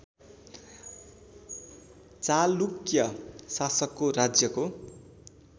चालुक्य शासकको राज्यको